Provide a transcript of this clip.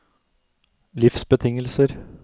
livsbetingelser